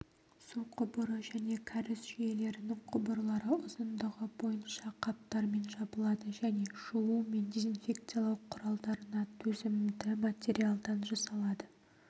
су құбыры және кәріз жүйелерінің құбырлары ұзындығы бойынша қаптармен жабылады және жуу мен дезинфекциялау құралдарына төзімді материалдан жасалады